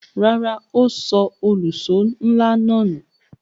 Rárá, ó sọ òlùṣó ńlá náà nù.